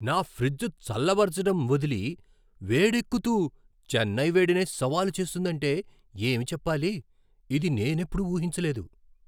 నా ఫ్రిజ్ చల్లబరచడం వదిలి వేడెక్కుతూ చెన్నై వేడినే సవాలు చేస్తుందంటే ఏమి చెప్పాలి! ఇది నేనెప్పుడూ ఊహించలేదు!